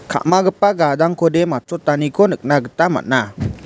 ka·magipa gadangkode matchotaniko nikna gita man·a.